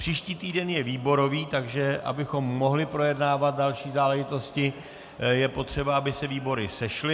Příští týden je výborový, takže abychom mohli projednávat další záležitosti, je potřeba, aby se výbory sešly.